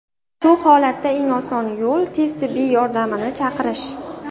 Shu holatda eng oson yo‘l tez tibbiy yordamni chaqirish.